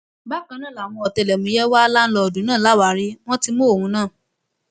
bákan náà làwọn ọtẹlẹmúyẹ wà láńlọọdù náà láwàárí wọn ti mú òun náà